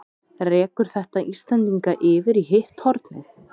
Rekur þetta Íslendinga yfir í hitt hornið?